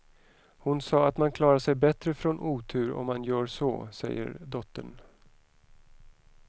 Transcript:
Hon sa att man klarar sig bättre från otur om man gör så, säger dottern.